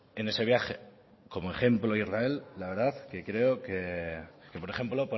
en ese viaje como ejemplo a israel la verdad que creo que por ejemplo